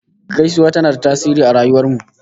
Gaisuwa tana da tasiri a rayuwar mu